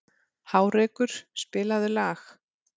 Hárekur, spilaðu lag.